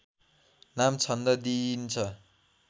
नाम छन्द दिइन्छ